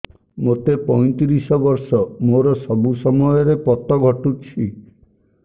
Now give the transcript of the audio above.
ମୋତେ ପଇଂତିରିଶ ବର୍ଷ ମୋର ସବୁ ସମୟରେ ପତ ଘଟୁଛି